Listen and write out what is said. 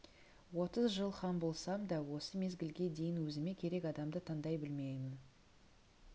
отыз жыл хан болсам да осы мезгілге дейін өзіме керек адамды таңдай білмеймін